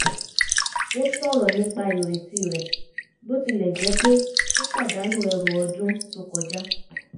ó sọ̀rọ̀ nípa ireti rẹ̀ bó tilẹ̀ jẹ́ pé ó pàdánù ẹrù ọdún tó kọjá